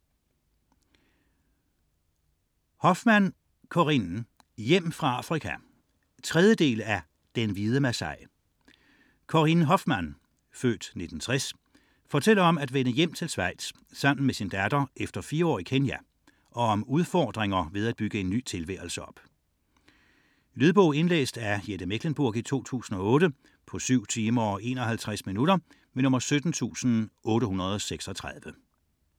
99.4 Hofmann, Corinne Hofmann, Corinne: Hjem fra Afrika 3. del af Den hvide masai. Corinne Hofmann (f. 1960) fortæller om at vende hjem til Schweiz sammen med sin datter efter fire år i Kenya, og om udfordringer ved at bygge en ny tilværelse op. Lydbog 17836 Indlæst af Jette Mechlenburg, 2008. Spilletid: 7 timer, 51 minutter.